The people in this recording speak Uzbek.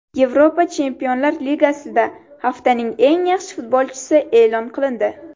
Yevropa Chempionlar Ligasida haftaning eng yaxshi futbolchisi e’lon qilindi.